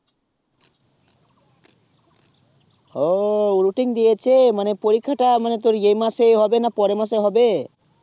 ও routine দিয়েছে মানে পরীক্ষাটা মানে তোর এই মাসেই হবে না পরের মাসে হবে